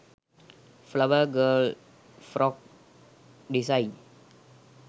flower girl frock disain